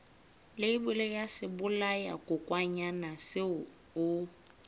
leibole ya sebolayakokwanyana seo o